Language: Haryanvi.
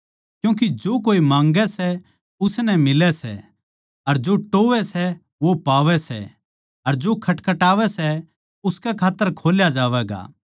क्यूँके जो कोए माँगै सै उसनै मिलै सै अर जो टोह्वैं सै वो पावै सै अर जो खटखटावै सै उसकै खात्तर खोल्या जावैगा